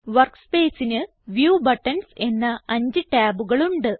Workspaceന് view buttons എന്ന അഞ്ച് ടാബുകളുണ്ട്